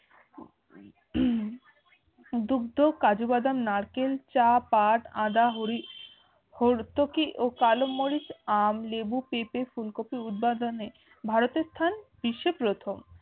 দুগ্ধ কাজু বাদাম নারকেল চা পাট আদা হরি হর্তুকি ও কালোমরিচ আম লেবু পেঁপে ফুলকপি উৎপাদনে ভারতে স্থান বিশ্বে প্রথম